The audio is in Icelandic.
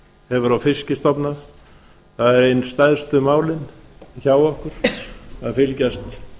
hefur á fiskstofna það eru ein stærstu málin hjá okkur að fylgjast